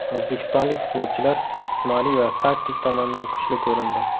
O‘zbekistonlik futbolchilar jismoniy va taktik tomondan kuchli ko‘rindi.